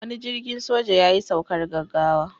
Wani jirgin soja yayi saukar gaggawa.